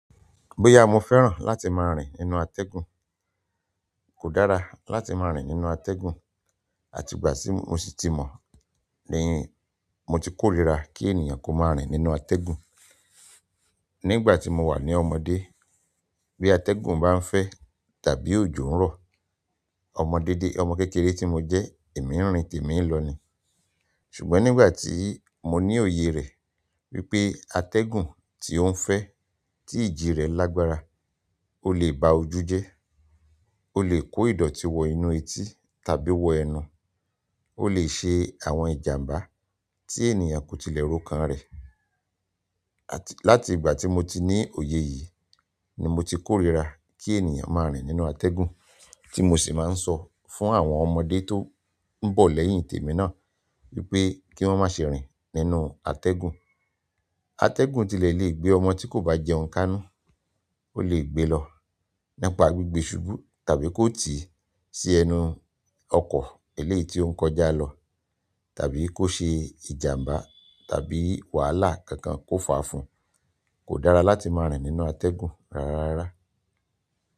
Bóyá mo fẹ́ràn láti máa rìn nínú atẹ́gùn, kò dára láti máa rìn nínú atẹ́gùn. Àti ìgbà tí mo sì ti mọ̀ ni mo ti kórìíra kí ènìyàn kó máa rìn nínú atẹ́gùn. Nígbà tí mo wà ní ọmọdé, bí atẹ́gùn bá ń fẹ́ tàbí òjò ń rọ, ọmọdé-dé, ọmọ kékeré tí mo jẹ́, èmi ń rìn tèmi ń lọ ni. Ṣùgbọ́n nígbà tí mo ní òye rẹ̀ wípé atẹ́gùn tí ó ń fẹ́, tí ìjì rẹ̀ lágbára, ó lè ba ojú jẹ́, ó lè kó ìdọ̀tí wọ inú etí tàbí wọ ẹnu, ó lè ṣe àwọn ìjàmbá tí ènìyàn kò tilẹ̀ rokan rẹ̀. Àti láti ìgbà tí mo ti ní òye yìí ni mo ti kórìíra kí ènìyàn máa rìn nínú atẹ́gùn, tí mo sì máa ń sọ fún àwọn ọmọdé tó ń bọ̀ lẹ́yìn tèmi náà wípé kí wón má ṣe rìn nínú atẹ́gùn. Atẹ́gùn tilẹ̀ lè gbé ọmọ tí kò bá jẹun kánú, ó lè gbe lọ nípa gbígbé ṣubú tàbí kó tii sí ẹnu ọkọ̀ eléyìí tí ó ń kọjá lọ tàbí kó ṣe ìjàmbá tàbí wàhálà kankan kó fà á fún. Kò dára láti máa rìn nínú atẹ́gùn rárá rárá.